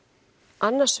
annars